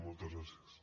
moltes gràcies